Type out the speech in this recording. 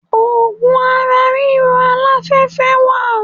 Ògùn ara ríro aláfẹ́fẹ́ wà.